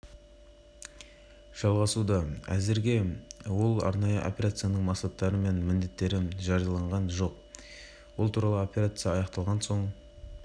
арнайы операция сәрсенбі күні күндіз ақтөбемұнайөңдеу басталғанды арнайы операция жүргізіліп жатқанын ақпарат және коммуникация министрлігінің ресми